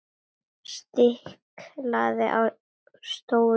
Stiklað á stóru